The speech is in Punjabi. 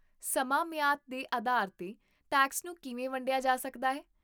ਸਮਾਂ ਮਿਆਦ ਦੇ ਆਧਾਰ 'ਤੇ ਟੈਕਸ ਨੂੰ ਕਿਵੇਂ ਵੰਡਿਆ ਜਾ ਸਕਦਾ ਹੈ?